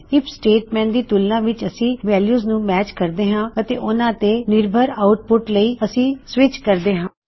IF statement ਦੀ ਤੁਲਨਾ ਵਿੱਚ ਅਸੀ ਵੈਲਯੂਜ਼ ਨੂੰ ਮੈਚ ਕਰਦੇ ਹਾਂ ਅਤੇ ਉਨ੍ਹਾ ਤੇ ਨਿਰਭਰ ਆੳਟਪੁਟਸ ਲਈ ਅਸੀ ਸਵਿਚ ਕਹਿੰਦੇ ਹਾਂ